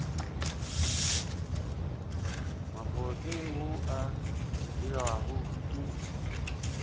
mobose wo o dirwago ke